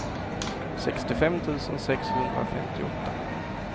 sextiofem tusen sexhundrafemtioåtta